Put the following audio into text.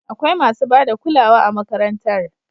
Akwai masu ba da kulawa a makarantar.